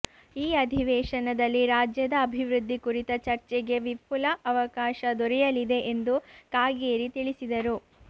ಈ ಅಧಿವೇಶನದಲ್ಲಿ ರಾಜ್ಯದ ಅಭಿವೃದ್ಧಿ ಕುರಿತ ಚರ್ಚೆಗೆ ವಿಫುಲ ಅವಕಾಶ ದೊರೆಯಲಿದೆ ಎಂದು ಕಾಗೇರಿ ತಿಳಿಸಿದರು